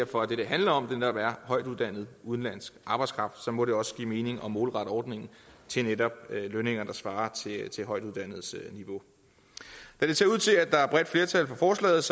for at det det handler om netop er højtuddannet udenlandsk arbejdskraft så må det også give mening at målrette ordningen til netop lønninger der svarer til højtuddannedes niveau da det ser ud til at der er bredt flertal for forslaget